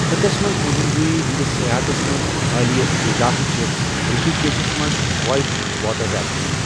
خطس منٛز مہم جویی ہندِس سیاحتس منز حالیہ اضافہٕ چھےٚ رشی کیشس منٛز وایٹ واٹر ریفٹنگ۔